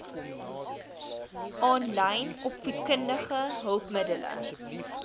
aanlyn opvoedkundige hulpmiddele